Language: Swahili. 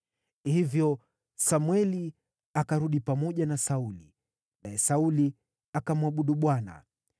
Hivyo Samweli akarudi pamoja na Sauli, naye Sauli akamwabudu Bwana .